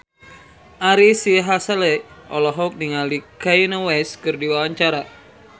Ari Sihasale olohok ningali Kanye West keur diwawancara